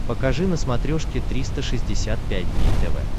покажи на смотрешке триста шестьдесят пять дней тв